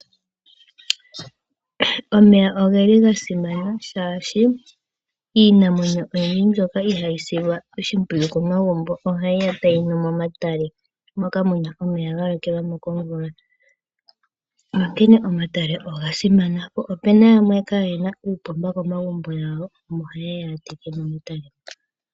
Omeya ogeli ga simana oshoka, iinamwenyo oyindji mbyono ihayi silwa oshimpwiyu komagumbo, ohayiya tayinu momatale, moka muna omeya galokelwamo komvula. Onkene, omatale oga simana. Opena yamwe kaayena uupomba komagumbo gawo, omo hayeya yateke momatale moka.